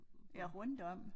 Ja rundt om